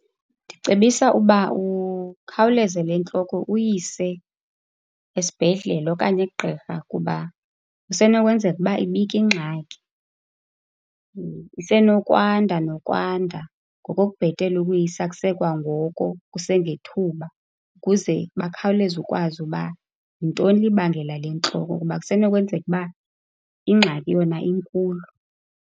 Ndicebisa uba ukhawuleze le ntloko uyise esibhedlele okanye kugqirha kuba kusenokwenzeka ukuba ibika ingxaki, isenokwanda nokwanda. Ngoko kubhele ukuyisa kusekwangoko, kusengethuba, kuze bakhawuleze ukwazi uba yintoni le ibangela le ntloko ngoba kusenokwenzeka ukuba ingxaki yona inkulu.